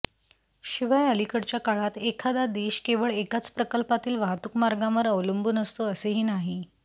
शिवाय अलीकडच्या काळात एखादा देश केवळ एकाच प्रकल्पातील वाहतूक मार्गांवर अवलंबून असतो असेही नाही